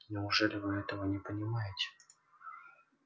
неужели вы этого не понимаете